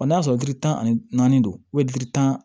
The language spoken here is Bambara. Ɔ n'a sɔrɔ ji tan ani naani don tan